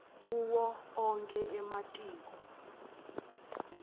kuwo onkhe ematiko